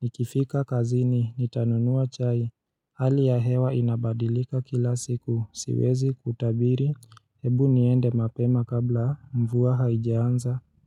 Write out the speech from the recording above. Nikifika kazini, nitanunua chai hali ya hewa inabadilika kila siku, siwezi kutabiri, hebu niende mapema kabla mvua haijaanza.